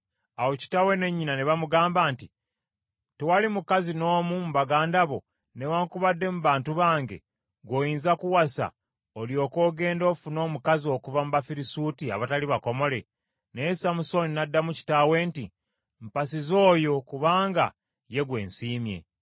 Awo kitaawe ne nnyina ne bamugamba nti, “Tewali mukazi n’omu mu baganda bo newaakubadde mu Bantu bange gw’oyinza kuwasa, olyoke ogende ofune omukazi okuva mu Bafirisuuti abatali bakomole?” Naye Samusooni n’addamu kitaawe nti, “Mpasiza oyo kubanga ye gwe nsiimye.”